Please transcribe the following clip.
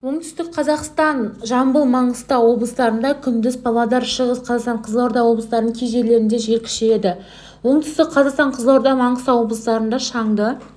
оңтүстік қазақстан жамбыл маңғыстау облыстарында күндіз павлодар шығыс қазақстан қызылорда облыстарының кей жерлерінде жел күшейеді оңтүстік қазақстан қызылорда маңғыстау облыстарында шаңды